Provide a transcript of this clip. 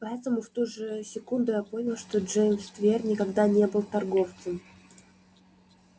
поэтому в ту же секунду я понял что джеймс твер никогда не был торговцем